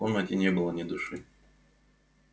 в комнате не было ни души